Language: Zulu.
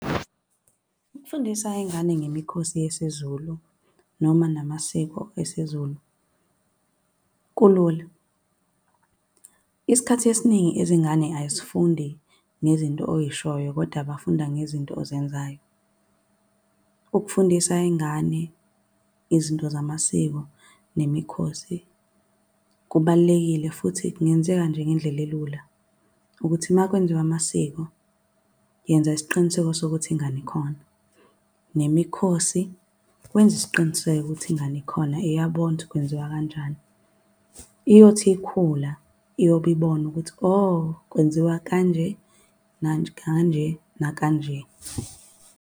Ukufundisa iy'ngane ngemikhosi yesiZulu noma namasiko esiZulu, kulula. Isikhathi esiningi izingane azifundi nezinto oyishoyo koda bafunda ngezinto ozenzayo. Ukufundisa iy'ngane izinto zamasiko nemikhosi kubalulekile futhi kungenzeka nje ngendlela elula, ukuthi uma kwenziwa amasiko, yenza isiqiniseko sokuthi ingane ikhona. Nemikhosi, wenze isiqiniseko ukuthi ingane ikhona iyabona ukuthi kwenziwa kanjani. Iyothi ikhula, iyobe ibona ukuthi o, kwenziwa kanje kanje nakanje.